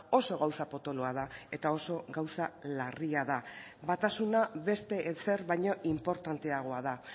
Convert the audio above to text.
oso gauza potoloa da eta oso gauza larria da batasuna beste ezer baino inportanteagoa da